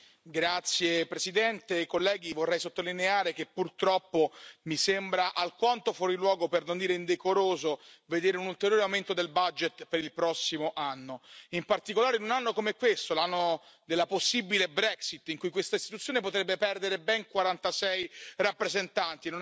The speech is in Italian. Signora Presidente, onorevoli colleghi, vorrei sottolineare che purtroppo mi sembra alquanto fuori luogo, per non dire indecoroso, vedere un ulteriore aumento del budget per il prossimo anno, in particolare in un anno come questo, l'anno della possibile Brexit, in cui questa Istituzione potrebbe perdere ben 46 rappresentanti.